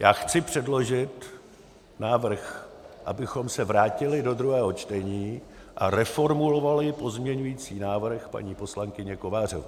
Já chci předložit návrh, abychom se vrátili do druhého čtení a reformulovali pozměňovací návrh paní poslankyně Kovářové.